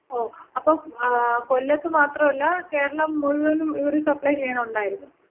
ഓ അപ്പോ ങാ, കൊല്ലത്ത് മാത്രല്ല കേരളം മുഴുവനും ഇവര് സപ്ലൈ ചെയ്യണൊണ്ടാരുന്ന്?